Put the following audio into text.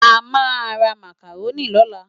Amá rá Mákáróni lólá